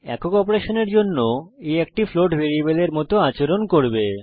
একক অপারেশনের জন্য a একটি ফ্লোট ভ্যারিয়েবলের মত আচরণ করবে